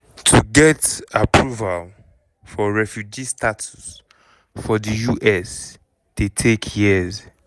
to get approval for refugee status for di us dey take years.